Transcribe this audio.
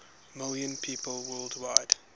million people worldwide